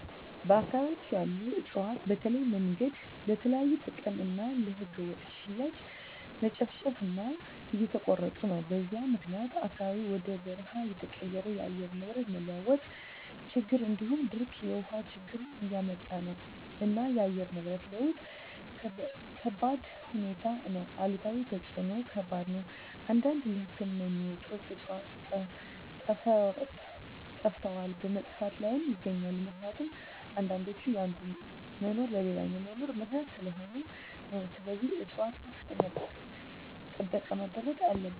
በአካባቢያቸን ያሉ እፅዋትን በተለያዮ መንገድ ለተለያዩ ጥቅም እና ለህገወጥ ሽያጭ መጨፍጨፉ እና እየተቆረጡ ነው በዚህም ምክኒያት አካባቢው ወደ በርሃ እየተቀየረ የአየር ንብረት መለዋወጥ ችግር እንዲሁም ድርቅ የውሀ ችግር እያመጣ ነው እና የአየር ንብረት ለውጥ ከባድሁኔታ ነው አሉታዊ ተፅዕኖው ከባድ ነው አንዳንድ ለህክምና የሚውሉ ዕፅዋቶች ጠፈተዋል በመጥፋት ላይም ይገኛሉ ምክኒቱም አንዳንዶች የአንዱ መኖር ለሌላኛው መኖር ምክኒያት ሰለሆኑ ነው ስለዚህም ፅፅዋቶች ከፍተኛ ጥበቃ መደረግ አለበት።